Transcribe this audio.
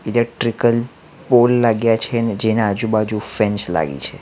Electrical pole લાગ્યા છે જેના આજુ-બાજુ ફેન્સ લાગી છે .